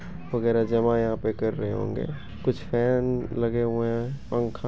वगैरा जमा यहाँ पर कर रहें होंगे। कुछ फेन लगे हुए हैं पंखा --